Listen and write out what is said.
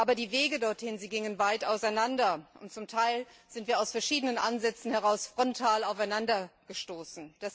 Aber die Wege dorthin gingen weit auseinander. Und zum Teil sind wir aus verschiedenen Ansätzen heraus frontal aufeinandergestoßen.